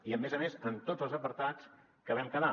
i a més a més en tots els apartats que vam quedar